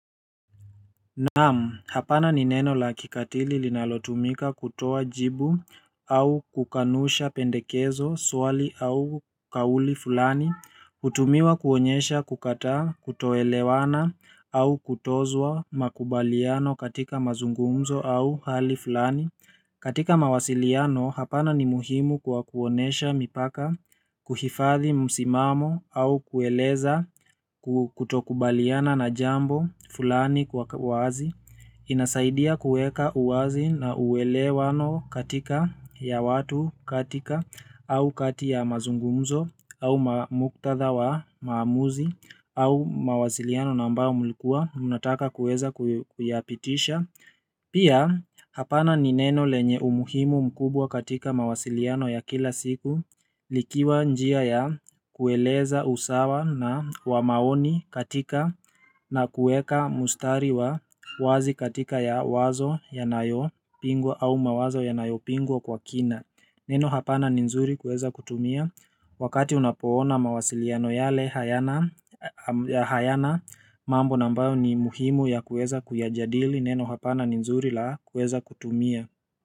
Naam, hapana ni neno la kikatili linalotumika kutoa jibu au kukanusha pendekezo swali au kauli fulani hutumiwa kuonyesha kukataa kutoelewana au kutozwa makubaliano katika mazungumzo au hali fulani katika mawasiliano, hapana ni muhimu kwa kuonesha mipaka, kuhifadhi msimamo au kueleza kutokubaliana na jambo fulani kwa wazi inasaidia kuweka uwazi na uelewano katika ya watu katika au kati ya mazungumzo au muktadha wa maamuzi au mawasiliano na ambao mlikuwa mnataka kuweza kuyapitisha pia hapana nineno lenye umuhimu mkubwa katika mawasiliano ya kila siku likiwa njia ya kueleza usawa na wamaoni katika na kuweka mustari wa wazi katika ya wazo ya nayo pingwa au mawazo ya nayo pingwa kwa kina Neno hapana ni nzuri kuweza kutumia Wakati unapoona mawasiliano yale hayana mambo na ambayo ni muhimu ya kuweza kuyajadili neno hapana ni nzuri la kuweza kutumia.